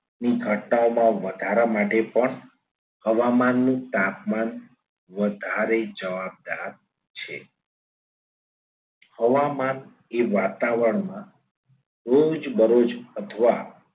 ની ઘટનાઓમાં વધારા માટે પણ હવામાનનું તાપમાન વધારે જવાબદાર છે. હવામાન એ વાતાવરણમાં રોજબરોજ અથવા